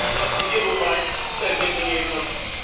W przypadku wielu państw pewnie to nie jest możliwe.